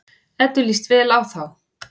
Eddu líst vel á þá.